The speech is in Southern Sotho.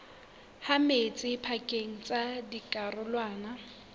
ha metsi pakeng tsa dikarolwana